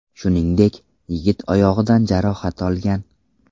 Shuningdek, yigit oyog‘idan jarohat olgan.